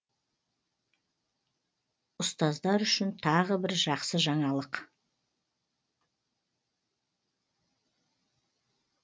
ұстаздар үшін тағы бір жақсы жаңалық